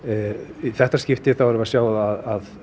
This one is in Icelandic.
í þetta skipti erum við að sjá að